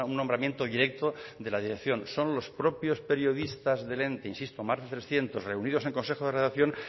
nombramiento directo de la dirección son los propios periodistas del ente insisto más de trescientos reunidos en consejo de redacción